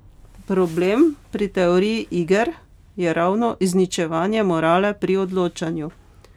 Problem pri teoriji iger je ravno izničevanje morale pri odločanju.